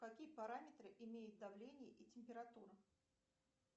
какие параметры имеет давление и температура